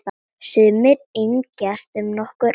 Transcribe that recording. Sumir yngjast um nokkur ár.